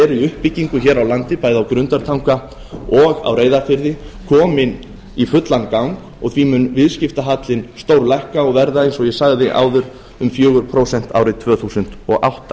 uppbyggingu hér á landi bæði á grundartanga og á reyðarfirði komin í fullan gang og því mun viðskiptahallinn stórlækka og verða eins og ég sagði áður um fjögur prósent árið tvö þúsund og átta